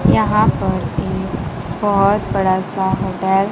यहां पर एक बहुत बड़ा सा होटल --